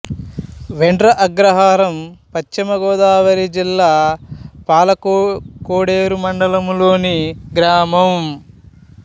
వేండ్ర అగ్రహారం పశ్చిమ గోదావరి జిల్లా పాలకోడేరు మండలం లోని గ్రామం